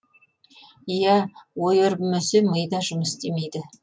иә ой өрбімесе ми да жұмыс істемейді